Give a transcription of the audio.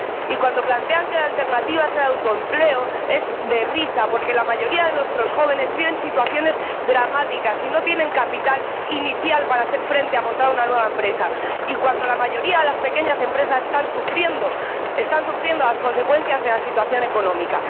Y cuando plantean que la alternativa es el autoempleo, es de risa, porque la mayoría de nuestros jóvenes viven situaciones dramáticas y no tienen capital inicial para hacer frente a los gastos de montar una nueva empresa, cuando, además, la mayoría de las pequeñas empresas están sufriendo las consecuencias de la situación económica.